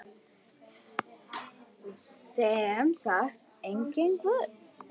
Sem sagt, enginn guð.